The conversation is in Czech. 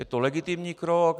Je to legitimní krok.